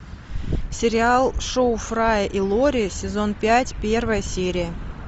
сериал шоу фрая и лори сезон пять первая серия